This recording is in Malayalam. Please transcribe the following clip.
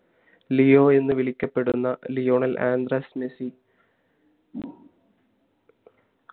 ലിയോ എന്ന വിളിക്കപ്പെടുന്ന ലിയോണൽ അന്ദ്രാസ് മെസ്സി